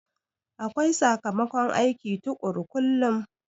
Akwai sakamakon aiki tukuru kullum